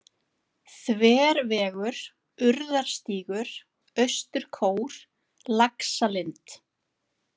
Þvervegur, Urðarstígur, Austurkór, Laxalind